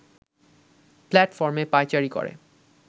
প্ল্যাটফর্মে পায়চারি করে